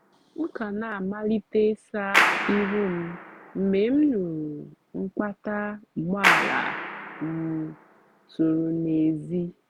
m ka na-amalite ịsa ihu m mgbe m nụụrụ mkpata ụgbọala um tụrụ n’èzí.